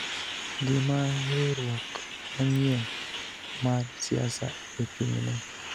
gima riwruok manyien mar siasa ochung�ne,